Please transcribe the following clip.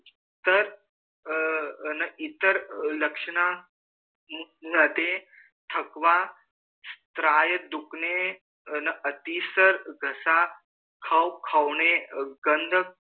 तर अ इतर लक्षणा मधे थकवा स्तराय धुकने न अतिसर घसा ख खवने गंध